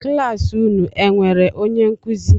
Kịlasị unu e enwere onye nkuzi?